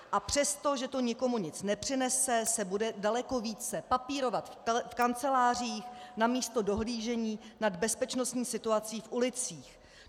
A přesto, že to nikomu nic nepřinese, se bude daleko více papírovat v kancelářích namísto dohlížení nad bezpečnostní situací v ulicích.